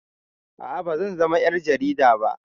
A'a bazan zama ƴar jarida ba